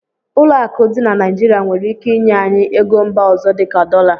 Ụlọ akụ dị na Naijiria nwere ike inye anyị ego mba ọzọ dị ka dọla.